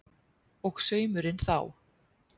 Og saumurinn þá?